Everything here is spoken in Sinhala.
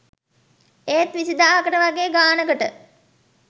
ඒත් විසිදාහකට වගේ ගානකට